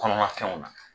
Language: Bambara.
Kɔnɔna fɛnw na